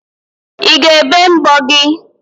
I ga-ebe mbọ gị?